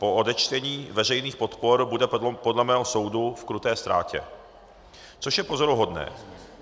Po odečtení veřejných podpor bude podle mého soudu v kruté ztrátě, což je pozoruhodné.